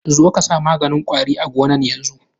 Zo ka sa maganin kwari a gonan yanzun.